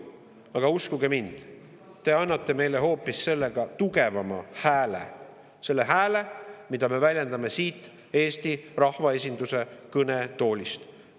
" Aga uskuge mind, te annate meile sellega hoopis tugevama hääle – selle hääle, mida me väljendame siit Eesti rahvaesinduse kõnetoolist.